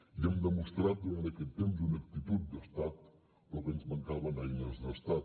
i hem demostrat durant aquest temps una actitud d’estat però que ens mancaven eines d’estat